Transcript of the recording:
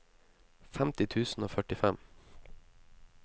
femti tusen og førtifem